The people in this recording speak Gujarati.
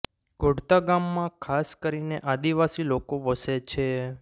ગોડધા ગામમાં ખાસ કરીને આદિવાસી લોકો વસે છે